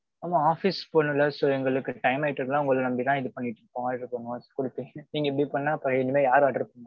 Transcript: ஆமாம் office போகணும்ல, so, எங்களுக்கு time ஆயிட்டு இருக்குனா உங்கள நம்பித்தான் இது பண்ணிட்டு இருக்கோம். நீங்க இப்பிடி பண்ணா அப்பறோம் இனிமே யாரு order பண்ணுவா?